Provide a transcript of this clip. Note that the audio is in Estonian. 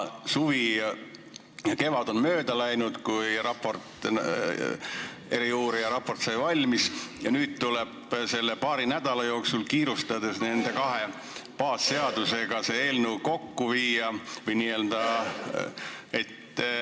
Suvi ja kevad on mööda läinud pärast seda, kui eriuurija raport sai valmis, ja nüüd tuleb selle paari nädala jooksul kiirustades eelnõu nende kahe baasseadusega kooskõlla viia.